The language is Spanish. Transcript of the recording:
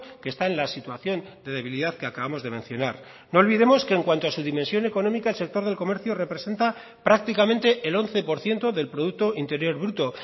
que está en la situación de debilidad que acabamos de mencionar no olvidemos que en cuanto a su dimensión económica el sector del comercio representa prácticamente el once por ciento del producto interior bruto